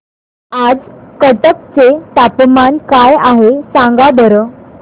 आज कटक चे तापमान काय आहे सांगा बरं